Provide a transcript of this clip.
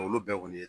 Olu bɛɛ kɔni ye